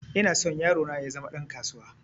Ina so yaro na ya zama ɗan kasuwa